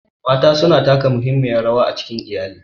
Mata suna taka muhimmiyar rawa a cikin iyali.